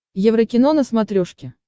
еврокино на смотрешке